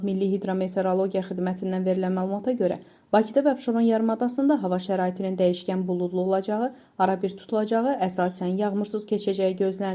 Milli hidrometeorologiya xidmətindən verilən məlumata görə Bakıda və Abşeron yarımadasında hava şəraitinin dəyişkən buludlu olacağı, arabir tutulacağı, əsasən yağmursuz keçəcəyi gözlənilir.